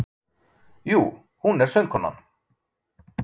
Jú, hún er söngkonan